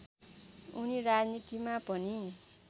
उनी राजनीतिमा पनि